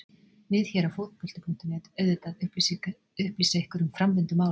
Við hér á Fótbolti.net auðvitað upplýsa ykkur um framvindu mála.